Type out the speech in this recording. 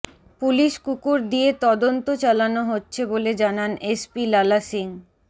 police কুকুর দিয়ে তদন্ত চালানো হচ্ছে বলে জানান এসপি লালা সিং